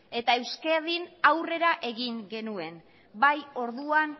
eta euskadin aurrera egin genuen bai orduan